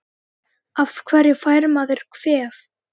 Af hverju fær maður kvef?